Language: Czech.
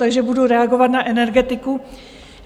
Takže budu reagovat na energetiku.